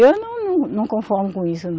Eu não, não, não conformo com isso, não.